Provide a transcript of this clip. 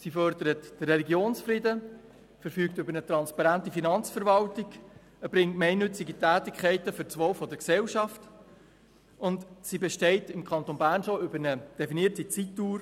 Sie fördert den Religionsfrieden, verfügt über eine transparente Finanzverwaltung, erbringt gemeinnützige Tätigkeiten für das Wohl der Gesellschaft und besteht im Kanton Bern bereits seit einer definierten Zeitdauer.